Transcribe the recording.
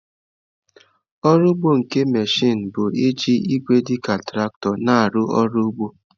Ọrụ ugbo nke mechịn bụ iji igwe dị ka traktọ na-arụ ọrụ ugbo.